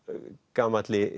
gamalli